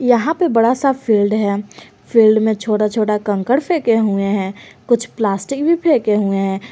यहां पे बड़ा सा फील्ड है फील्ड में छोटा छोटा कंकड़ फेकें हुए हैं कुछ प्लास्टिक भी फेकें हुए हैं।